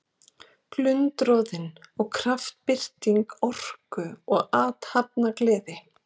Glundroðinn er kraftbirting orku og athafnagleði.